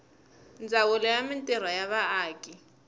ndzawulo ya mintirho ya vaaki